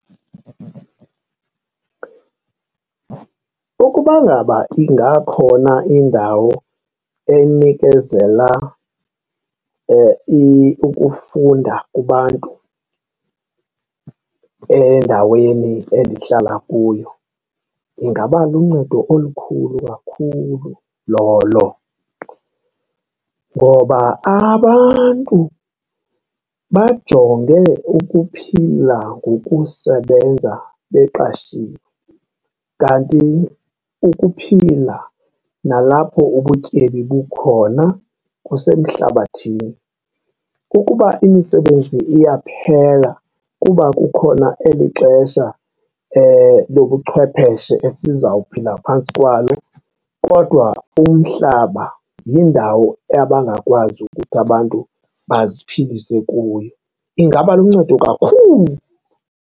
Ukuba ngaba ingakhona indawo enikezela ukufunda kubantu endaweni endihlala kuyo ingaba luncedo olukhulu kakhulu lolo ngoba abantu bajonge ukuphila ngokusebenza beqashiwe, kanti ukuphila nalapho ubutyebi bukhona kusemhlabathini. Ukuba imisebenzi iyaphela kuba kukhona eli xesha lobuchwepeshe esiza kuphila phantsi kwalo kodwa umhlaba yindawo abangakwazi ukuthi abantu baziphilise kuyo. Ingaba luncedo kakhulu.